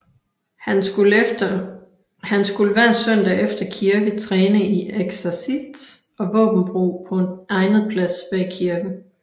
Han skulle hver søndag efter kirke træne i eksercits og våbenbrug på en egnet plads bag kirken